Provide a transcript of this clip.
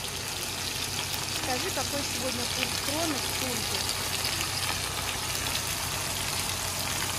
скажи какой сегодня курс кроны к фунту